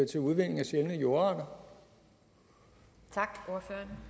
til at udvinde sjældne jordarter og